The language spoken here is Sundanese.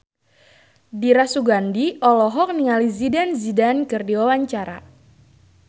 Dira Sugandi olohok ningali Zidane Zidane keur diwawancara